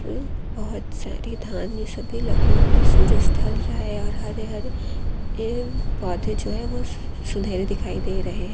बहुत सारी धान सी भी लगी हुई है सूरज ढल रहा है और हरे हरे पैड पौधे जो है सुनहरे दिखाई दे रहे है।